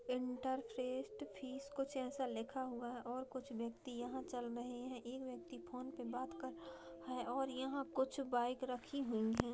Inter phrase कुछ ऐसा लिखा हुआ है और कुछ व्यक्ति यहाँ चल रहे हैं एक व्यक्ति फोन पे बात कर रहा है और यहाँ कुछ बाइक रखी हुई है।